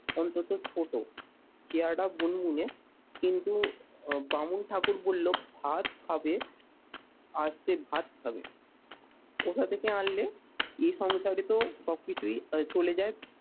অন্তত ছোট চেহারাটা বুনবুনে কিন্তু বামুন ঠাকুর বলল ভাত খাবে, আর সে ভাত খাবে। কোথা থেকে আনলে? এ সংসারে তো সব কিছুই চলে যায়